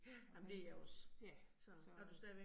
Ja, ja så